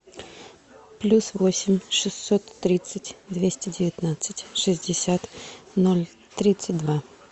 плюс восемь шестьсот тридцать двести девятнадцать шестьдесят ноль тридцать два